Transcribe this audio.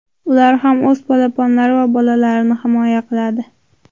Ular ham o‘z polaponlari va bolalarini himoya qiladi.